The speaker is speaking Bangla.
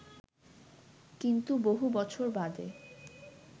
কিন্তু বহু বছর বাদে